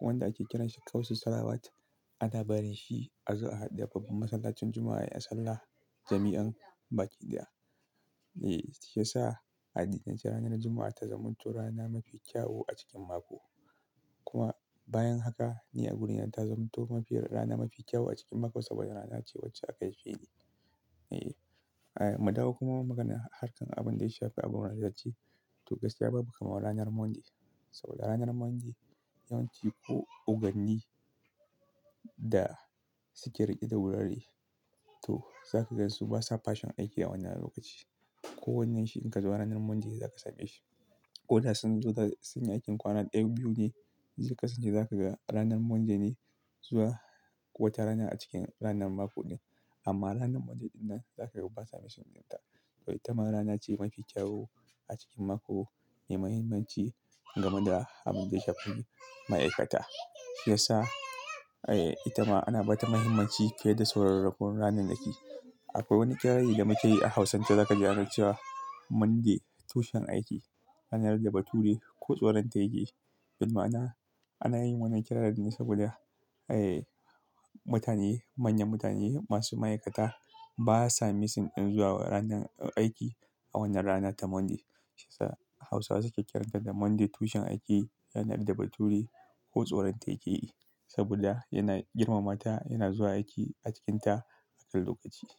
wanda ake kiran shi kamsis-salawati. Ana barin shi a zuwa da babbar masallacin Juma'a ya sallah jami'i baki ɗaya. Eh, shi ya sa a addinan ce ranar Juma'a ta zamanto rana mafi ƙyau a cikin mako. Kuma bayan haka ni a wurin nan ta zamanto mafi rana mafi kyau a cikin mako saboda rana ce wacce aka haife ni. E, ai, mu dawo kuma maganar harkan abin da ya shafi abun wasu ya ce to gaskiya babu kamawar ranar Monday. Saboda ranar Monday yawanci oganni da suke riƙe da wurare to za ka ga su basa Fashin aiki a wannan lokaci. Ko wannan shi in ka zo ranar Monday za ka same shi. Ko da sun zo su sanya aikin kwana ɗaya biyu ne, sun kasance za ka ga ranar Monday me zuwa wata rana a cikin ranar mako ne. Amma ranar Monday ɗin nan za ka ga basa fashin dinta. To ita ma rana ce mafi ƙyawu a cikin mako mai muhimmanci game da abin da ya shafi ma'aikata. Shi ya sa, ae, ita ma ana ba ta mahimmanci fiye da sauran rakunan ranar naki da ke. Akwai wani ƙirari da muke yi a Hausance da aka cewa Monday tushen aiki, ko nasara na tsoronta. Bi ma'ana ana yin wannan ƙirarin ne saboda, ee, manyan mutane ma'aikata ba sa missing in zuwa aiki a wannan rana ta Monday. Shi ya sa Hausawa suke kiranta da Monday tushen aiki, ko nasara na tsoron ta. Saboda yana girmama ta yana zuwa aiki a cikinta a kan lokaci.